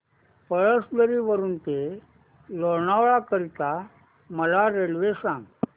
पळसधरी वरून ते लोणावळा करीता मला रेल्वे सांगा